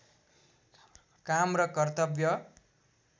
काम र कर्तव्य